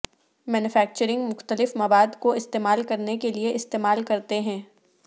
manufacturing مختلف مواد کو استعمال کرنے کے لئے استعمال کرتے ہیں